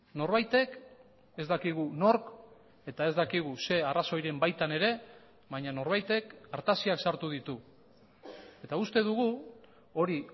norbaitek ez dakigu nork eta ez dakigu ze arrazoiren baitan ere baina norbaitek artaziak sartu ditu eta uste dugu hori